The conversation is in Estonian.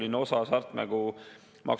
Aga küsimus, mis puudutab seda eelnõu, on järgmine.